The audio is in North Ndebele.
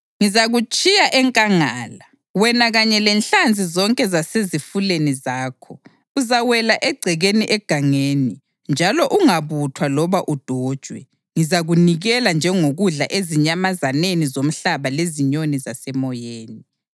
Ngizakutshiya enkangala, wena kanye lenhlanzi zonke zasezifuleni zakho. Uzawela egcekeni egangeni njalo ungabuthwa loba udojwe. Ngizakunikela njengokudla ezinyamazaneni zomhlaba lezinyoni zasemoyeni.